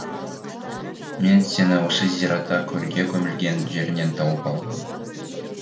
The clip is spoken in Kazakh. мен сені осы зиратта көрге көмілген жеріңнен тауып алдым